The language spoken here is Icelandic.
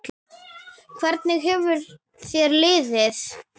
Hvernig hefur þér liðið?